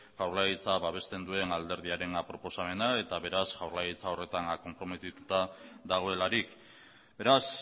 jaurlaritza babesten duen alderdiaren proposamena eta beraz jaurlaritzak horretan konprometituta dagoelarik beraz